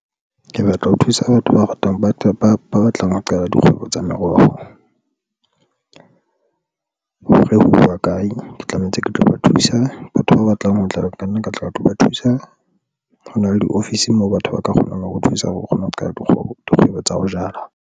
Ke batla ho thusa batho ba ratang, ba tle ba ba batlang ho qala dikgwebo tsa meroho. Hore houwa kae ke tlamehetse ke tlo ba thusa batho ba batlang ho tlala, ka nna ke tla ba tlo ba thusa. Ho na le di-office moo batho ba ka kgonang ho thusa hore o kgone ho qala dikgwebo tsa ho jala.